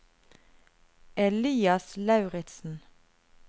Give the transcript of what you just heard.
Elias Lauritsen